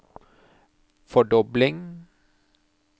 fordobling